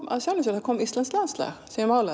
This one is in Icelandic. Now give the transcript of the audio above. af sjálfu sér það kom íslenskt landslag